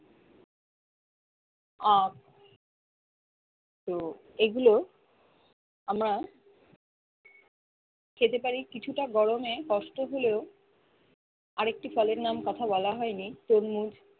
আহ তো এগুলো আমরা খেতে পারি কিছুটা গরমে কষ্ট হলেও আরেকটি ফলের নাম কথা হয়নি তরমুজ